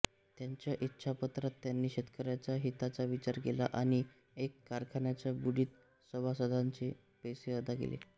त्यांच्या इच्छापत्रात त्यांनी शेतकऱ्याच्या हिताचा विचार केला आणि एका कारखान्याच्या बुडीत सभासदांचे पैसे अदा केले